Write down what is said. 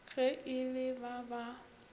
ge e le ba ba